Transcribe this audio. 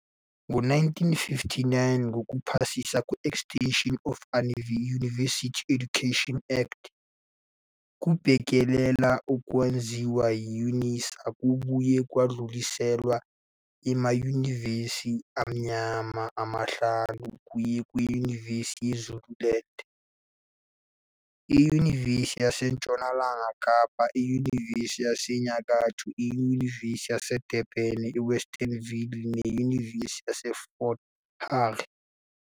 Ngo-1959, ngokuphasiswa kwe-Extension of University Education Act, ukubhekelela okwakwenziwa yi-UNISA kwabuye kwadluliselwa "emanyuvesi amnyama" amahlanu, okuyi Nyuvesi yase Zululand, iNyuvesi yaseNtshonalanga Kapa, iNyuvesi yaseNyakatho, iNyuvesi yaseDurban-Westville, neNyuvesi yaseFort Hare.